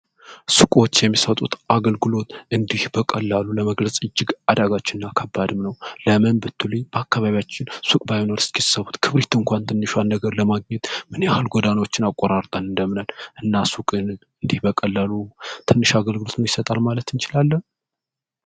ሱቆች የሚሰጡት አገልግሎት እንዲህ በቀላሉ ለመግለጽ አዳጋች ነው ለምን በአካባቢያችን ሱቅ ባይኖር እስኪ እሰቡት ክብሪት እንኳን ትንሿን ነገር ለማግኘት ምን ያክል ጎዳናዎችን አቆጣጠር እንደምንሄድ እና ሱቅ ቀላል የሚባል አገልግሎት ይሰጣል ማለት እንችላለን?